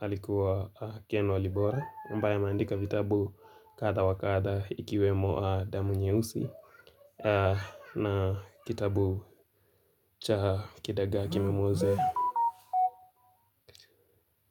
alikuwa Ken Walibora, ambaye ameandika vitabu kadha wa kadha ikiwemo damu nyeusi na kitabu cha kidagaa kimemuozea.